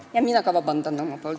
Ka mina palun vabandust.